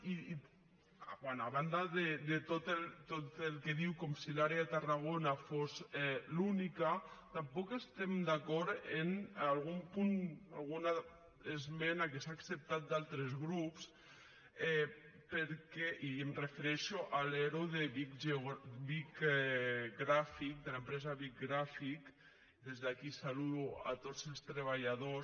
i bé a banda de tot el que diu com si l’àrea de tarragona fos l’única tampoc estem d’acord amb algun punt alguna esmena que s’ha acceptat d’altres grups i em refereixo a l’ero de bic graphic de l’empresa bic graphic des d’aquí en saludo tots els treballadors